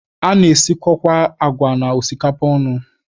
A na-esikọkwa agwa na osikapa ọnụ.